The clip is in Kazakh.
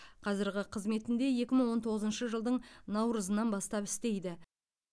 қазірғы қызметінде екі мың он тоғызыншы жылдың наурызынан бастап істейді